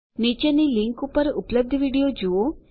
નીચેની લીંક ઉપર ઉપલબ્ધ વિડીયો જુઓ